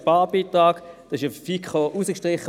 Dieser wurde von der FiKo herausgestrichen.